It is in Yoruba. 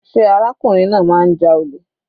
Sé arákùnrin náà máa ń ja olè.